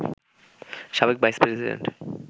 সাবেক vice president